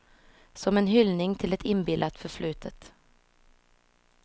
Som en hyllning till ett inbillat förflutet.